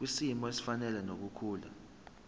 kwisimo esifanele nokukhula